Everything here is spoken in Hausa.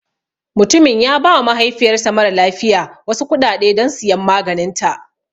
Mutumin ya ba wa mahaifiyar sa mara lafiya wasu kuɗaɗe don siyan maganinta